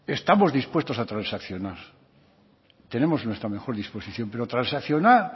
estamos dispuestos a transaccionar tenemos nuestra mejor disposición pero transaccionar